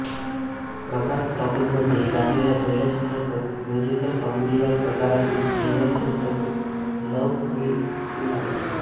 प्रभात टॉकीजमध्ये लागलेला पहिला चित्रपट म्युझिकल कॉमेडी या प्रकारातील इंग्रजी चित्रपट लव्ह मी टू नाइट